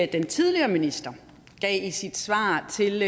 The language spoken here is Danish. den tidligere minister gav i sit svar til